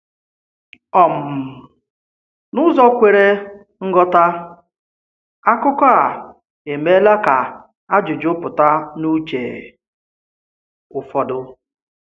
um N’ụzọ kwere nghọta, akụkọ a emeela kà ajụjụ pụta n’uche ụfọdụ.